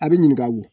A bɛ ɲininka o